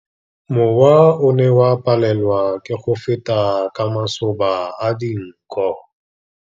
Mowa o ne o palelwa ke go feta ka masoba a dinko.